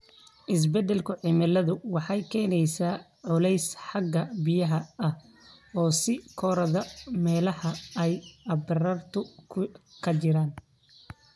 Isbeddelka cimiladu waxay keenaysaa culays xagga biyaha ah oo sii kordha meelaha ay abaartu ka jirtay.